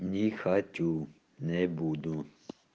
не хочу не буду